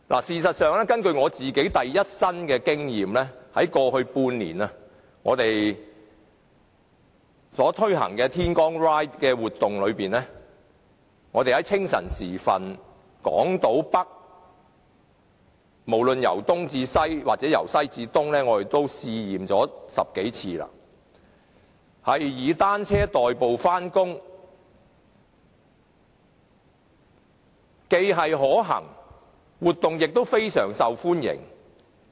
事實上，我有第一身的經驗，在過去半年，我們推行的"天光 Ride" 活動，清晨時分在港島北，無論由東至西或由西至東，試了10多次以單車代步，該活動非常受歡迎。